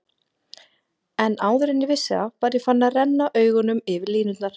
En áður en ég vissi af var ég farinn að renna augunum yfir línurnar.